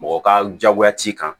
Mɔgɔ ka jagoya t'i kan